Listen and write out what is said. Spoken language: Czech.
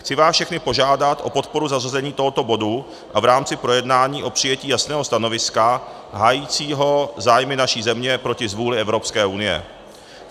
Chci vás všechny požádat o podporu zařazení tohoto bodu a v rámci projednání o přijetí jasného stanoviska hájícího zájmy naší země proti zvůli Evropské unie.